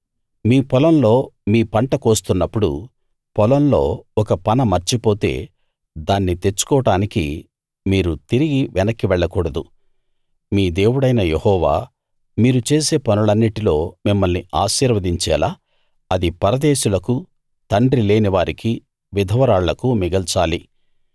మీ పొలంలో మీ పంట కోస్తున్నప్పుడు పొలంలో ఒక పన మర్చిపోతే దాన్ని తెచ్చుకోడానికి మీరు తిరిగి వెనక్కి వెళ్ళకూడదు మీ దేవుడైన యెహోవా మీరు చేసే పనులన్నిటిలో మిమ్మల్ని ఆశీర్వదించేలా అది పరదేశులకు తండ్రి లేనివారికీ విధవరాళ్లకూ మిగల్చాలి